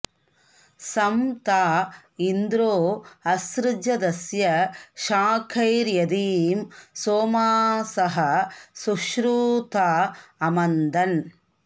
सं ता इन्द्रो॑ असृजदस्य शा॒कैर्यदीं॒ सोमा॑सः॒ सुषु॑ता॒ अम॑न्दन्